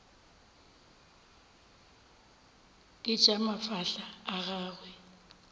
ke tša mafahla a gagwe